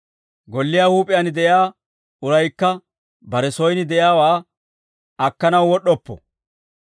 Golliyaa huup'iyaan de'iyaa uraykka bare soyin de'iyaawaa akkanaw wod'd'oppo.